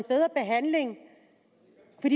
en